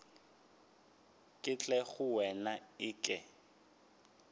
ke tle go wena eke